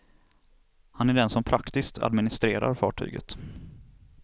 Han är den som praktiskt administrerar fartyget.